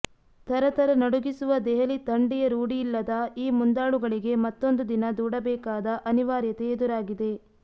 ಥರಥರ ನಡುಗಿಸುವ ದೆಹಲಿ ಥಂಡಿಯ ರೂಢಿಯಿಲ್ಲದ ಈ ಮುಂದಾಳುಗಳಿಗೆ ಮತ್ತೊಂದು ದಿನ ದೂಡಬೇಕಾದ ಅನಿವಾರ್ಯತೆ ಎದುರಾಗಿದೆ